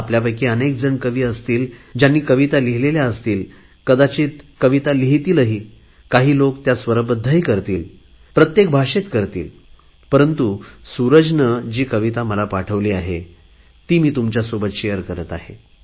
आपल्यापैकी अनेकजण कवि असतील ज्यांनी कविता लिहिलेल्या असतील कदाचित कविता लिहितीलही काही लोक त्या स्वरबध्दही करतील प्रत्येक भाषेत करतील परंतु सुरजने जी कविता मला पाठवली आहे ती तुमच्यासोबत शेअर करत आहे